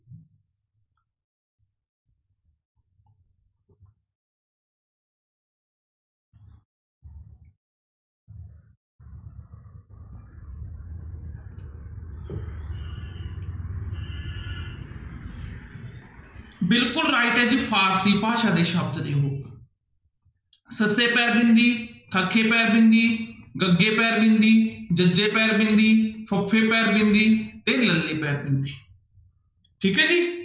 ਬਿਲਕੁਲ right ਹੈ ਜੀ ਫ਼ਾਰਸੀ ਭਾਸ਼ਾ ਦੇ ਸ਼ਬਦ ਨੇ ਉਹ ਸੱਸੇ ਪੈਰ੍ਹ ਬਿੰਦੀ, ਖੱਖੇ ਪੈਰ੍ਹ ਬਿੰਦੀ, ਗੱਗੇ ਪੈਰ੍ਹ ਬਿੰਦੀ, ਜੱਜੇ ਪੈਰ੍ਹ ਬਿੰਦੀ, ਫੱਫ਼ੇ ਪੈਰ ਬਿੰਦੇ ਤੇ ਲੱਲੇ ਪੈਰ੍ਹ ਬਿੰਦੀ ਠੀਕ ਹੈ ਜੀ।